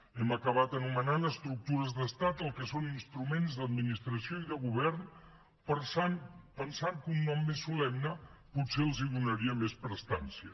hem acabat anomenant estructures d’estat el que són instruments d’administració i de govern pensant que un nom més solemne potser els donaria més prestància